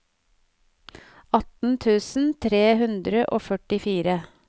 atten tusen tre hundre og førtifire